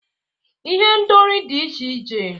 Ihendori dị iche iche